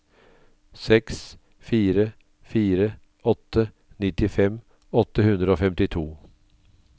seks fire fire åtte nittifem åtte hundre og femtito